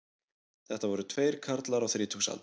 Þetta voru tveir karlar á þrítugsaldri